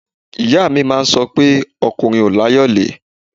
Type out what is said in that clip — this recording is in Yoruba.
Ìyá mi máa ń sọ pé ọkùnrin ò láyọ̀lé